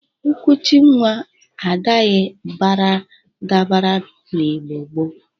Nkuchi nwa adaghi baradabara n'Igbo gboo.